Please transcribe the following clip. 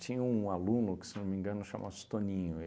Tinha um aluno que, se não me engano, chama-se Toninho.